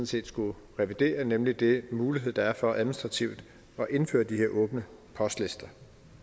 set skulle revidere nemlig den mulighed der er for administrativt at indføre de her åbne postlister